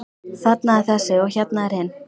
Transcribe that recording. Þarna er þessi og hérna hinn.